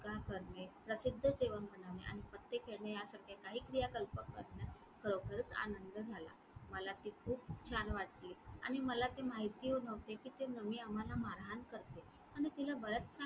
काम करणे, प्रसिद्ध जेवण बनविणे आणि पत्ते खेळणे यासारख्या काही क्रियाकल्पक आनंद झाला. मला ती खूप छान वाटली आणि मला ते माहिती नव्हते कि ते आम्हाला मारहाण करतील आणि तिला बरेच